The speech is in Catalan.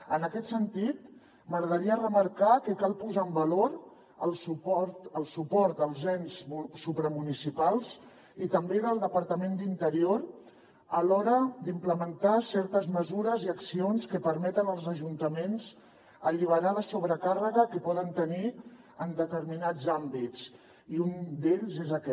en aquest sentit m’agradaria remarcar que cal posar en valor el suport dels ens supramunicipals i també del departament d’interior a l’hora d’implementar certes mesures i accions que permeten als ajuntaments alliberar la sobrecàrrega que poden tenir en determinats àmbits i un d’ells és aquest